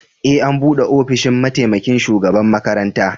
E, an bude ofishin mataimaƙin shugaɓan makaranta.